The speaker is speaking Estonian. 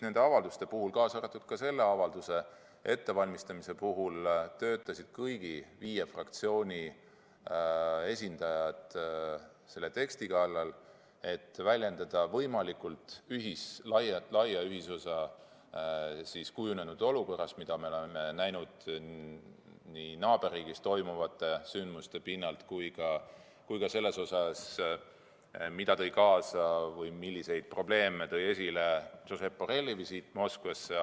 Nende avalduste puhul, kaasa arvatud selle avalduse ettevalmistamisel, töötasid kõigi viie fraktsiooni esindajad teksti kallal, et väljendada võimalikult laia ühisosa kujunenud olukorras, mida me oleme näinud nii naaberriigis toimuvate sündmuste pinnal kui ka selles osas, mida tõi kaasa või milliseid probleeme tõi esile Josep Borrelli visiit Moskvasse.